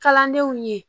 Kalandenw ye